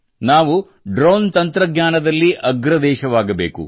ನಾವು ಡ್ರೋನ್ ತಂತ್ರಜ್ಞಾನದಲ್ಲಿ ಅಗ್ರ ದೇಶವಾಗಬೇಕು